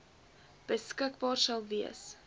beskikbaar sal wees